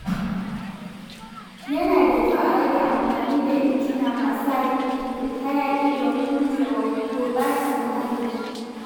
Yana da kyau a rage amfani da injina masu hayaƙi domin guje wa gurɓatar muhalli.